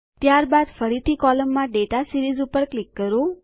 ત્યારબાદ ફરીથી કોલમમાં ડેટા સીરીઝ પર ક્લિક કરો